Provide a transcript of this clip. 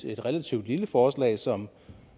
et relativt lille forslag som